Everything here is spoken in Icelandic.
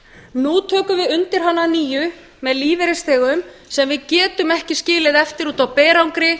nú tökum við undir hana að nýju með lífeyrisþegum sem við getum ekki skilið eftir úti á berangri